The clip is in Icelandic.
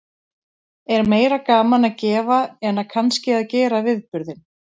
Er meira gaman að gefa en að kannski að gera viðburðinn?